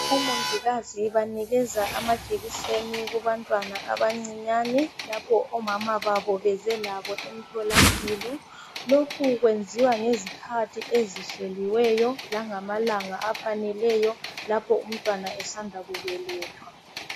Omongikazi bahlaba amajekiseni kubantwana abancinyane lapho omama babo beze labo emtholampilo lokhu kwenziwa ngezikhathi ezihleliweyo langamalanga afaneleyo lapho umntwana esanda kubelethwa.